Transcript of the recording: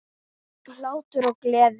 Hlátur og gleði.